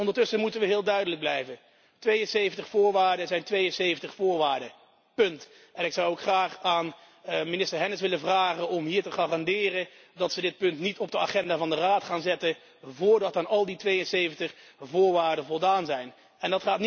Ondertussen moeten we heel duidelijk blijven 72 voorwaarden zijn 72 voorwaarden, punt. Ik zou ook graag aan minister Hennis willen vragen om hier te garanderen dat dit punt niet op de agenda van de Raad zal worden geplaatst voordat aan al die 72 voorwaarden voldaan is.